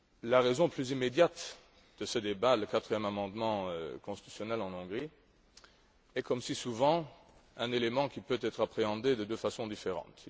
La raison plus immédiate de ce débat le quatrième amendement constitutionnel en Hongrie est, comme si souvent, un élément qui peut être appréhendé de deux façons différentes.